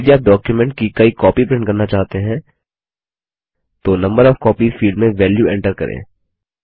यदि आप डॉक्युमेंट की कई कॉपी प्रिंट करना चाहते हैं तो नंबर ओएफ कॉपीज फील्ड में वेल्यू एंटर करें